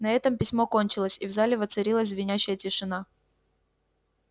на этом письмо кончилось и в зале воцарилась звенящая тишина